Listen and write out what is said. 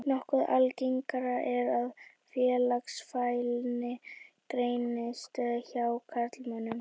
Nokkuð algengara er að félagsfælni greinist hjá karlmönnum.